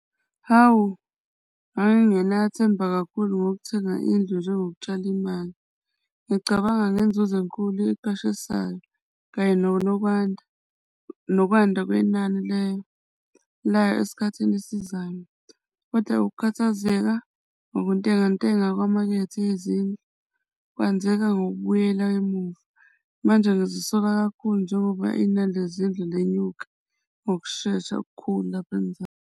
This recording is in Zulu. Hawu, ngangingenathemba kakhulu ngokuthenga indlu njengokutshala imali. Ngicabanga ngezinzuzo enkulu eqashisayo kanye nonokwanda nokwanda kwenani lesikhathini esizayo. Kodwa ukukhathazeka nokuntengantenga kwemakethe yezindlu kwenzeka ngokubuyela emuva. Manje ngyazisola kakhulu njengoba inani lezindlu lenyuka ngokushesha okukhulu lapha eMzansi.